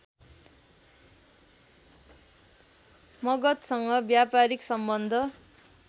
मगधसँग व्यापारीक सम्बन्ध